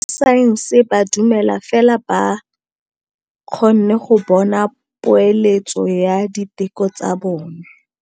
Borra saense ba dumela fela fa ba kgonne go bona poeletsô ya diteko tsa bone.